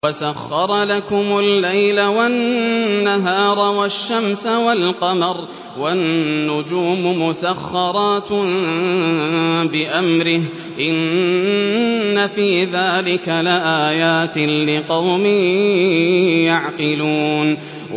وَسَخَّرَ لَكُمُ اللَّيْلَ وَالنَّهَارَ وَالشَّمْسَ وَالْقَمَرَ ۖ وَالنُّجُومُ مُسَخَّرَاتٌ بِأَمْرِهِ ۗ إِنَّ فِي ذَٰلِكَ لَآيَاتٍ لِّقَوْمٍ يَعْقِلُونَ